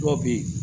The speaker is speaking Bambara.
Dɔw bɛ yen